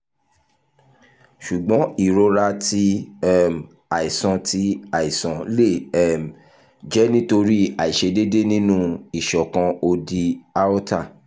ṣugbọn irora ti um aisan ti aisan le um jẹ nitori aiṣedede ninu iṣọkan odi aorta